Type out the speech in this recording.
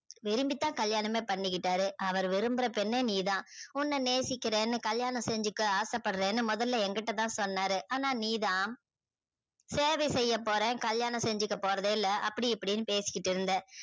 விரும்பிதா கல்யாணமே பண்ணிகிட்டாறு அவர் விரும்புற பொண்ணே நீதா உன்ன நேசிகிரனு கல்யாணம் பண்ணிக்க ஆச படுரனு மொதல ய கிட்டதா சொன்னாரு ஆனா நீத சேவை செய்ய போற கல்யாணம் செஞ்சிக போறது இல்ல அப்டி இப்படி பேசிட்டு இருந்த